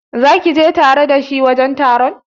Zaki je tare da shi wajen taron?